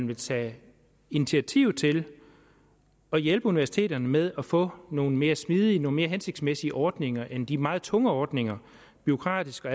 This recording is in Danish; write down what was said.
vil tage initiativ til at hjælpe universiteterne med at få nogle mere smidige mere hensigtsmæssige ordninger end de meget tunge ordninger bureaukratisk og